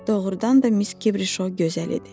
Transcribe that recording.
Doğrudan da Miss Kibrişo gözəl idi.